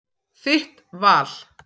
Þitt val.